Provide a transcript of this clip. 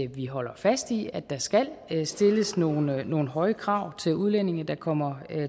vi holder fast i at der skal stilles nogle nogle høje krav til udlændinge der kommer